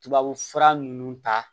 Tubabufura ninnu ta